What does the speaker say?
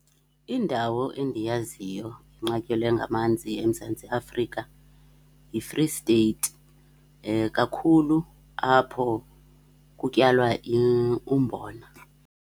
Indawo endiyaziyo inqatyelwe ngamanzi eMzantsi Afrika yiFree State. Kakhulu apho kutyalwa umbona.